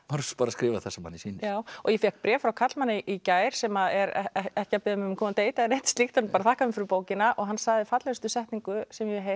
bara skrifar það sem manni sýnist já og ég fékk bréf frá karlmanni í gær sem er ekki að biðja mig um að koma á deit eða slíkt bara þakka mér fyrir bókina hann sagði fallegustu setningu sem ég hef heyrt